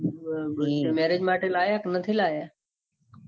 marrige માટે લાયા કે નથી લાયા. ના